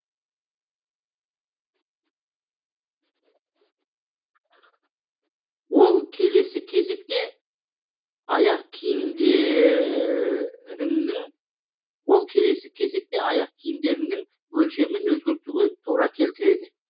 ол келесі кезекте аяқ киімдеріңнің өлшемін өзгертуге тура келтіреді